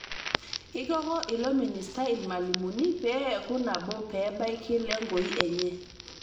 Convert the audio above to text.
Eikoko ilo ministai lmalimuni pee eeku nabo pe ebaiki lengoi enye